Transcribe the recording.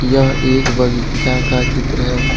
यह एक बगीचा का चित्र है।